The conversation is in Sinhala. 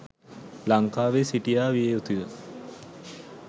ලංකාවේ සිටියා විය යුතුය